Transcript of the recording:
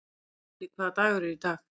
Silli, hvaða dagur er í dag?